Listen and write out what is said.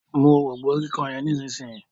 mú òrombó kíkàn yen Nísìsiyìí.